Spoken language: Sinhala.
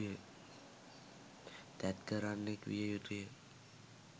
තැත් කරන්නෙක් විය යුතුයි.